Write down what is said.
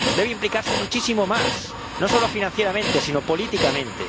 Debe implicarse muchísimo más, no solo financieramente sino políticamente.